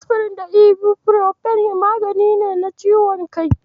Asfirin da Ibufirofen magungunan ciwon kai ne.